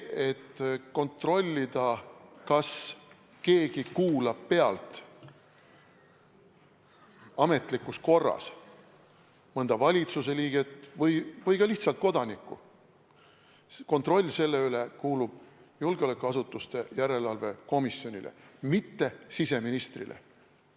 Kontroll selle üle, kas keegi kuulab ametlikus korras pealt mõnda valitsuse liiget või ka lihtsalt kodanikku, kuulub julgeolekuasutuste järelevalve erikomisjonile, mitte siseministrile.